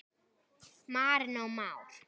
Marinó Már.